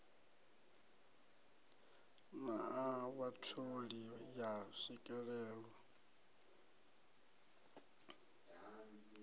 na a vhatholi ya swikelelwa